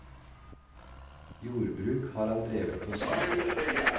Jordbruk har han drevet på si.